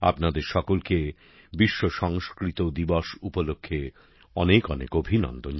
আপনাদের সকলকে বিশ্ব সংস্কৃত দিবস উপলক্ষ্যে অনেকঅনেক অভিনন্দন